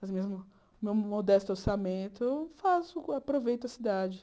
Mas mesmo com o meu modesto orçamento, eu faço aproveito a cidade.